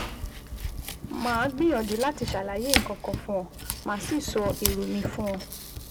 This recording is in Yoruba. Màá gbìyànjú láti ṣàlàyé nǹkan kan fún ọ, màá sì sọ èrò mi fún ọ